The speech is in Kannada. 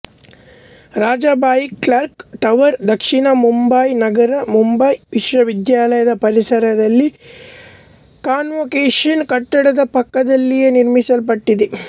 ರಾಜಾಬಾಯಿ ಕ್ಲಾಕ್ ಟವರ್ ದಕ್ಷಿಣ ಮುಂಬಯಿನಗರದ ಮುಂಬಯಿ ವಿಶ್ವವಿದ್ಯಾಲಯದ ಪರಿಸರದಲ್ಲಿ ಕಾನ್ವೊಕೇಶನ್ ಕಟ್ಟಡದ ಪಕ್ಕದಲ್ಲೇಯೇ ನಿರ್ಮಿಸಲ್ಪಟ್ಟಿದೆ